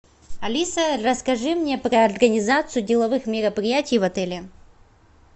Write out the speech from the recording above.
алиса расскажи мне про организацию деловых мероприятий в отеле